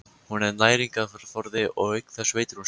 Hún er næringarforði og auk þess veitir hún skjól.